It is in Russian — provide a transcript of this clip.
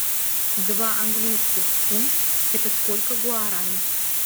два английских фунт это сколько гуарани